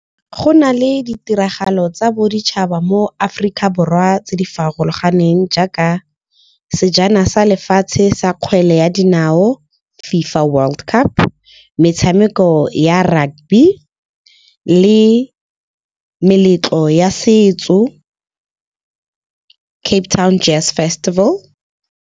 Go nale ditiragalo tsa boditšhaba mo Aforika Borwa tse di farologaneng, jaaka sejana sa lefatshe sa kgwele ya dinao, FIFA World Cup, metshameko ya rugby le meletlo ya setso Cape Town jazz festival.